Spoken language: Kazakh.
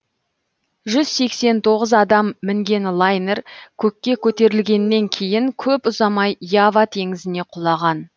жүз сексен тоғыз адам мінген лайнер көкке көтерілгеннен кейін көп ұзамай ява теңізіне құлаған